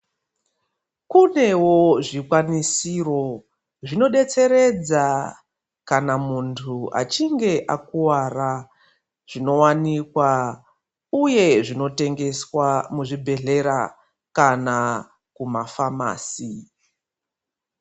Kunewo zvikwanisiro zvinodetseredza kana muntu achinge akuwara zvinowanikwa uye zvinotengeswa muzvibhedhlera kana kumafamasi.